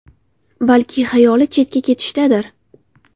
Balki xayoli chetga ketishdadir.